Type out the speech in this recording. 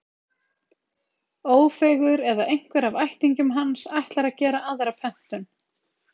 Ófeigur, eða einhver af ættingjum hans, ætlar að gera aðra pöntun.